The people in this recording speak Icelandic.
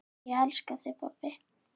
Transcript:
Ég elska þig, pabbi.